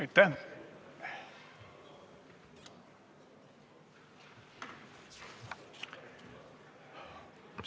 Aitäh!